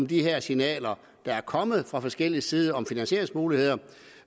de her signaler der er kommet fra forskellig side om finansieringsmuligheder